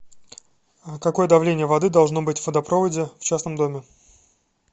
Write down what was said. какое давление воды должно быть в водопроводе в частном доме